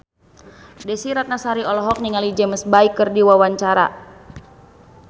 Desy Ratnasari olohok ningali James Bay keur diwawancara